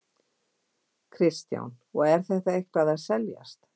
Kristján: Og er þetta eitthvað að seljast?